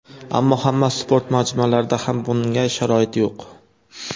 Ammo hamma sport majmualarida ham bunga sharoit yo‘q.